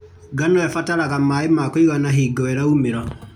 Ngano ĩbataraga maĩ ma kũigana hingo ĩraumĩra.